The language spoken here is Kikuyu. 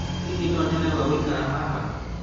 hihi no nyone gwa gũikara haha?